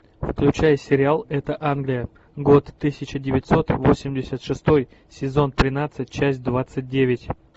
включай сериал это англия год тысяча девятьсот восемьдесят шестой сезон тринадцать часть двадцать девять